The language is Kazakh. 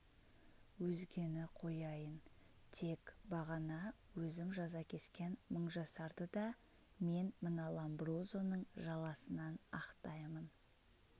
өзгені қояйын тек бағана өзім жаза кескен мыңжасарды да мен мына ломброзоның жаласынан ақтаймын